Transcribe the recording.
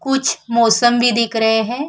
कुछ मौसमी दिख रहें हैं।